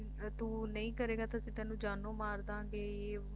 ਤੂੰ ਨਹੀਂ ਕਰੇਗਾ ਤਾਂ ਅਸੀਂ ਤੈਨੂੰ ਜਾਨੋਂ ਮਾਰ ਦਿਆਂਗੇ ਯੇ ਵੋ